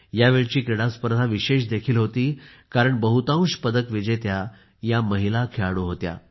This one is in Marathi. यावेळेची क्रीडा स्पर्धा विशेष देखील होती कारण बहुतांश पदक विजेत्या ह्या महिला खेळाडू होत्या